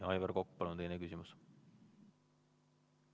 Aivar Kokk, palun, teine küsimus!